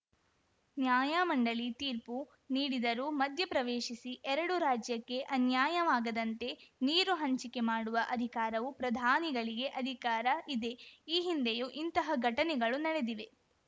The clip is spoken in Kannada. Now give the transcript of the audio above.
ನ್ಯಾಯಮಂಡಳಿ ತೀರ್ಪು ನೀಡಿದರೂ ಮಧ್ಯಪ್ರವೇಶಿಸಿ ಎರಡು ರಾಜ್ಯಕ್ಕೆ ಅನ್ಯಾಯವಾಗದಂತೆ ನೀರು ಹಂಚಿಕೆ ಮಾಡುವ ಅಧಿಕಾರವು ಪ್ರಧಾನಿಗಳಿಗೆ ಅಧಿಕಾರ ಇದೆ ಈ ಹಿಂದೆಯೂ ಇಂತಹ ಘಟನೆಗಳು ನಡೆದಿದೆ